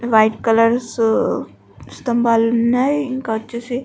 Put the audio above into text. white colour స్తంభాలు ఉన్నాయి ఇంకా వచ్చేసి --